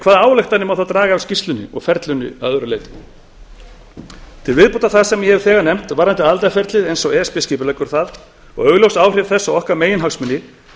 hvaða ályktanir má þá draga af skýrslunni og ferlinu að öðru leyti til viðbótar við það sem ég hef þegar nefnt varðandi aðildarferlið eins og e s b skipuleggur það og augljós áhrif þess á meginhagsmuni